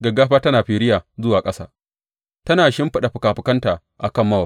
Gaggafa tana firiya zuwa ƙasa, tana shimfiɗa fikafikanta a kan Mowab.